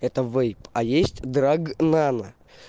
это вейп а есть драг нано